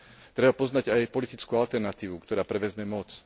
Treba poznať aj politickú alternatívu, ktorá prevezme moc.